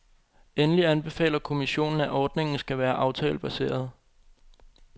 Endelig anbefaler kommissionen, at ordningen skal være aftalebaseret.